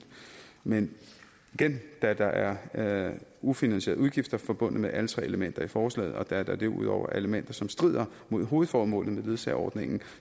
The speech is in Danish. men igen da der er ufinansierede udgifter forbundet med alle tre elementer i forslaget og da der derudover er elementer som strider mod hovedformålet med ledsageordningen